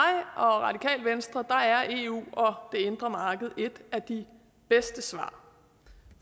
og radikale venstre er eu og det indre marked et af de bedste svar